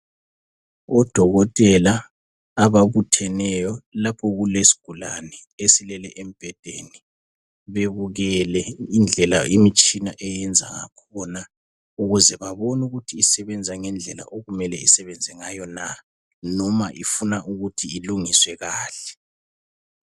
Odokotela ababutheneyo lapho okulesigulane esilele embhedeni bebukele indlela imitshina eyenza ngakhona ukuze babone ukuthi isebenza ngendlela okumele isebenza ngayo na noma ifuna ukuthi ilungiswe kahle.